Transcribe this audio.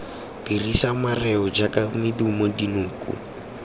dirisa mareo jaaka medumo dinoko